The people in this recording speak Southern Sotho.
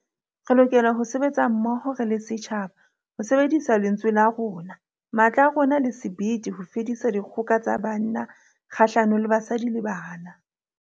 Re lokela ho sebetsa mmoho re le setjhaba ho sebedisa lentswe la rona, matla a rona le sebete ho fedisa dikgoka tsa banna kgahlano le basadi le bana.